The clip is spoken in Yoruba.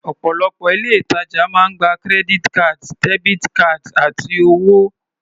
Ọ̀pọ̀lọpọ̀ ilé-ìtajà máa ń gba credit cards, debit cards, àti owó.